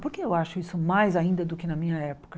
Por que eu acho isso mais ainda do que na minha época?